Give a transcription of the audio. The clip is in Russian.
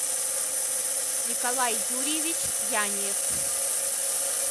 николай юрьевич яниев